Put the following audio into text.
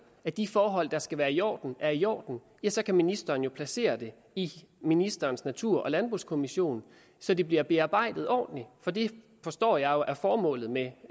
at de forhold der skal være i orden er i orden så kan ministeren jo placere det i ministerens natur og landbrugskommission så det bliver bearbejdet ordentligt for det forstår jeg jo er formålet med